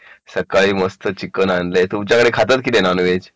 सकाळी मस्त चिकन आणले तुमच्याकडे खातात की नाही नॉनव्हेज